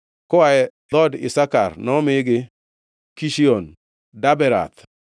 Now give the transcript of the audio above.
Koa e dhood Isakar, nomigi, Kishion, Daberath,